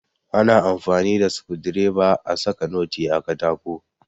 Ana amfani da Sukundireba a saka noti a katako.